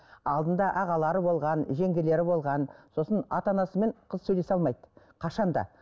алдында ағалары болған жеңгелері болған сосын ата анасымен қыз сөйлесе алмайды қашан да